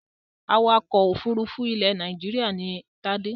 Awakọ̀ òfurufú ilẹ̀ Nàìjíríà ni Tádé.